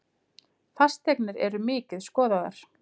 Fasteignir eru mikið skoðaðar